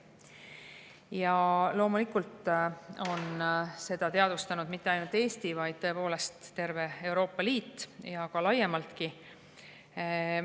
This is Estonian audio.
Ja loomulikult on seda teadvustanud mitte ainult Eesti, vaid tõepoolest terve Euroopa Liit ja laiem.